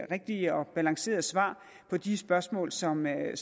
rigtige og balancerede svar på de spørgsmål som er